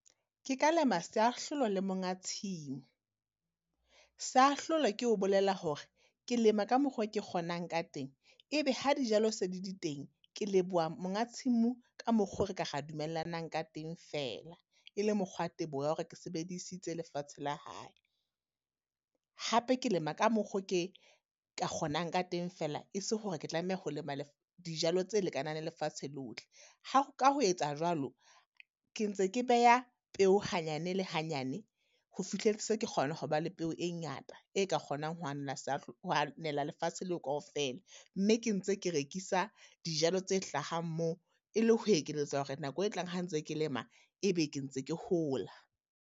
Ke ka lema seahlolo le monga tshimo. Seahlolo ke ho bolela hore, ke lema ka mokgo ke kgonang ka teng. E be ha dijalo se le di teng ke leboha monga tshimo ka mokgo re ka ra dumellanang ka teng fela e le mokgwa teboho ya hore ke sebedisitse lefatshe la hae. Hape ke lema ka mokgo ke ka kgonang ka teng fela, e se hore ke tlameha ho dijalo tse lekanang le lefatshe lohle. Ha, ka ho etsa jwalo, ke ntse ke beya peo hanyane le hanyane, ho fihle se ke kgona ho ba le peo e ngata. E ka kgonang ho ho lefatshe leo kaofela, mme ke ntse ke rekisa dijalo tse hlahang moo, e le ho ekeletsa hore nako e tlang ha ntse ke lema, e be ke ntse ke hola.